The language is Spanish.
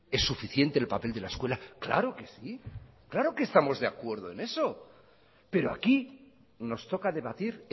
es suficiente el papel de la escuela claro que sí claro que estamos de acuerdo en eso pero aquí nos toca debatir